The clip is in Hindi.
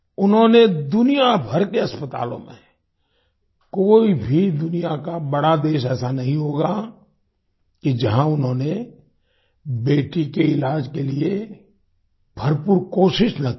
उन्होंने दुनियाभर के अस्पतालों में कोई भी दुनिया का बड़ा देश ऐसा नहीं होगा कि जहाँ उन्होंने बेटी के इलाज के लिए भरपूर कोशिश न की हो